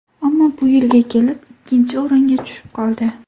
Ammo bu yilga kelib ikkinchi o‘ringa tushib qoldi.